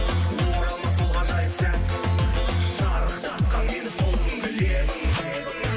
оралмас сол ғажайып сәт шарықтатқан мені сол күнгі лебің лебің